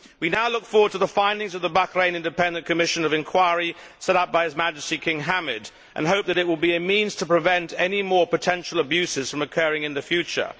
We now look forward to the findings of the Bahrain Independent Commission of Inquiry set up by His Majesty King Hamad and hope that it will be a means to prevent any more potential abuses from occurring in the future.